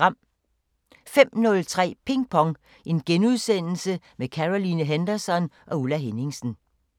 05:03: Ping Pong – med Caroline Henderson og Ulla Henningsen *